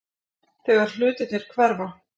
Þegar hlutirnir hverfa